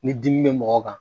Ni dimi bɛ mɔgɔ kan